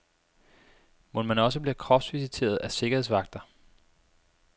Mon man også bliver kropsvisiteret af sikkerhedsvagter?